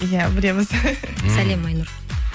иә білеміз сәлем айнұр